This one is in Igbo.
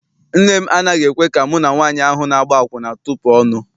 Nne m anaghị ekwe ka mụ na nwaanyị ahụ na-agba akwụna tupu ọnụ.